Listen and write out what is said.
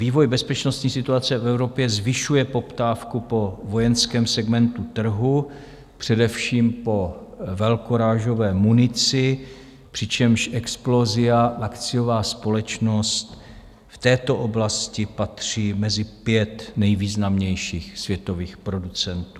Vývoj bezpečnostní situace v Evropě zvyšuje poptávku po vojenském segmentu trhu, především po velkorážové munici, přičemž Explosia, akciová společnost, v této oblasti patří mezi pět nejvýznamnějších světových producentů.